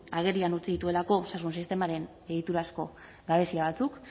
agerian utzi dituelako osasun sistemaren egiturazko gabezia batzuk